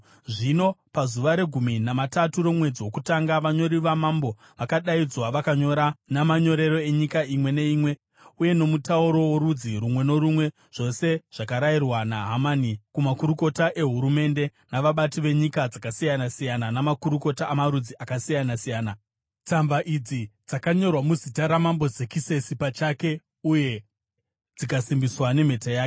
Zvino pazuva regumi namatatu romwedzi wokutanga vanyori vamambo vakadaidzwa. Vakanyora namanyorero enyika imwe neimwe uye nomutauro worudzi rumwe norumwe zvose zvakarayirwa naHamani kumakurukota ehurumende, navabati venyika dzakasiyana-siyana namakurukota amarudzi akasiyana-siyana. Tsamba idzi dzakanyorwa muzita raMambo Zekisesi pachake uye dzikasimbiswa nemhete yake.